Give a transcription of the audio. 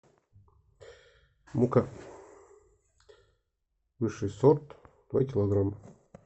мука высший сорт два килограмма